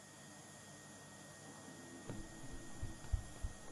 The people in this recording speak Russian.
показывай ленту время ведьм